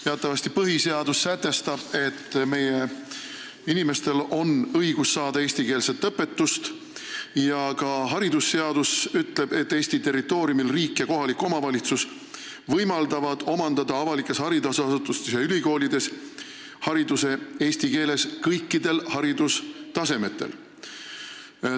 Teatavasti põhiseadus sätestab, et meie inimestel on õigus saada eestikeelset õpetust, ja ka haridusseadus ütleb, et Eesti territooriumil tagavad riik ja kohalik omavalitsus võimaluse omandada avalikes haridusasutustes ja ülikoolides eestikeelne haridus kõigil haridustasemetel.